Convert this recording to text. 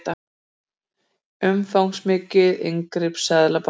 Umfangsmikið inngrip seðlabanka